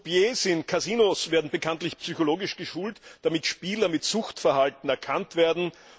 Croupiers in Casinos werden bekanntlich psychologisch geschult, damit Spieler mit Suchtverhalten erkannt werden.